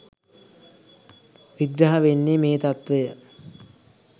විග්‍රහ වෙන්නේ මේ තත්ත්වය.